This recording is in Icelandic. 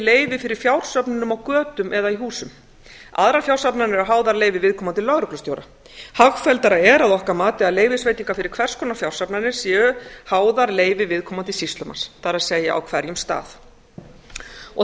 leyfi fyrir fjársöfnunum á götum eða í húsum aðrar fjársafnanir eru háðar leyfi viðkomandi lögreglustjóra hagfelldara er að okkar mati að leyfisveitingar fyrir hvers konar fjársafnanir séu háðar leyfi viðkomandi sýslumanns það er á hverjum stað þess